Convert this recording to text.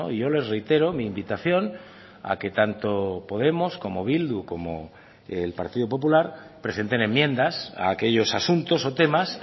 yo les reitero mi invitación a que tanto podemos como bildu como el partido popular presenten enmiendas a aquellos asuntos o temas